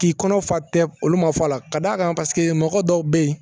K'i kɔnɔ fa tɛ olu ma fa la ka d'a kan paseke mɔgɔ dɔw bɛ yen